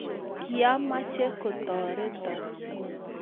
kiameche kotoreton